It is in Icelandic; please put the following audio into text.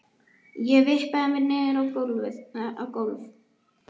Ég vippaði mér niður á gólf.